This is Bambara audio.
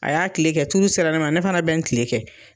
A y'a tile kɛ, tuuru sera ne ma, ne fana bɛ n tile kɛ.